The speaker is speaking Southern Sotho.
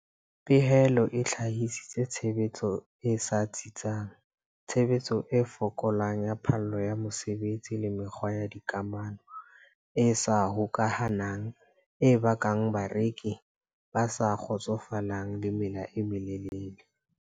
Pehelo e hlahisitse tshebetso e sa tsitsang, tshebetso e fokolang ya phallo ya mosebetsi le mekgwa ya dikamano e sa hokahanang e bakang bareki ba sa kgotsofalang le mela e melelele.